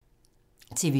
TV 2